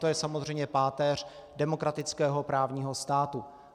To je samozřejmě páteř demokratického právního státu.